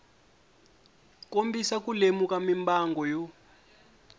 kombisa ku lemuka mimbangu yo